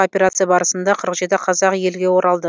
операция барысында қырық жеті қазақ елге оралды